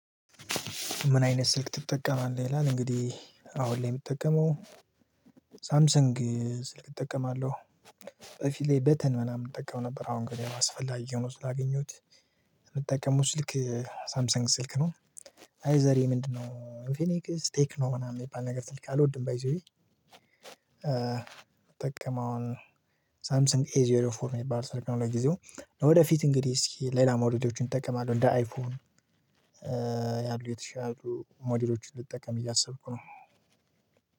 ምን አይነት ስልክ ትጠቀማለህ? ይላል እንግዲህ አሁን ላይ እምጠቀመው ሳምሰንግ ስልክ እጠቀማለሁ በፊት ላይ በተን ምናምን እጠቀም ነበር አሁን ግን ያው አስፈላጊ ሆኖ ስላገኘሁት እምጠቀመው ስልክ ሳምሰንግ ስልክ ነው። አይ ዘሬ ምንድነው? ኢንፊኒክ ቴክኖ ምናምን እሚባል ነገር ስልክ አልወድም ባይ ዘ ዌይ። ሳምሰንግ ኤ ዜሮ ፎር እሚባል ስልክ ነው። ለጊዜው ለወደፊት እንግዲህ እስኪ ሌላ ሞዴሎችን እጠቀማለሁ እንደ አይፎን ያሉ የተሻሉ ሞዴሎችን ልጠቀም እያሰብኩ ነው።